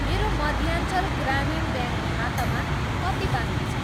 मेरो मध्याञ्चल ग्रामीण ब्याङ्क खातामा कति बाँकी छ?